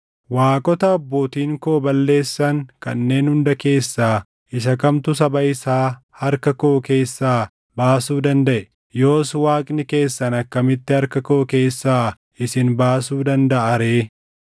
Waaqota abbootiin koo balleessan kanneen hunda keessaa isa kamtu saba isaa harka koo keessaa baasuu dandaʼe? Yoos Waaqni keessan akkamitti harka koo keessaa isin baasuu dandaʼa ree?